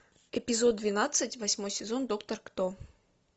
эпизод двенадцать восьмой сезон доктор кто